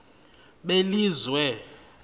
belizwe